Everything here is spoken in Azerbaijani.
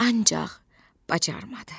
Ancaq bacarmadı.